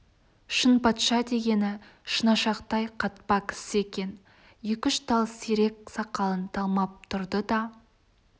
шынпатша дегені шынашақтай қатпа кісі екен екі-үш тал сирек сақалын талмап тұрды да